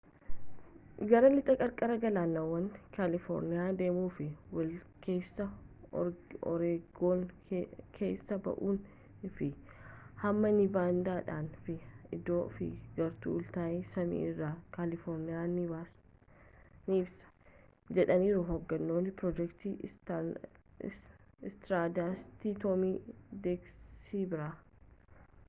gara lixa qarqara galaanawa kaalifoorniyaa deemuun fi walakeessa oreegon keessa ba’uun fi hamma niivaadaa dhaan fi idaaho fi gara utahitti samii irraa kaalifoorniyaa ni ibsa,’’ jedhaniiru hoogganaan proojektii istaardasti toom daaksibaarii